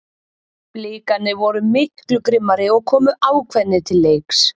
Blikarnir voru miklu grimmari og komu ákveðnir til leiks.